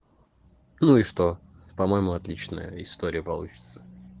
ну и что по-моему отличная история получится